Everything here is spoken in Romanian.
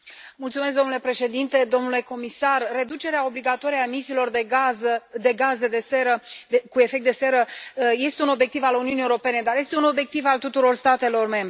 Domnule președinte, domnule comisar, reducerea obligatorie a emisiilor de gaze cu efect de seră este un obiectiv al Uniunii Europene și este un obiectiv al tuturor statelor membre.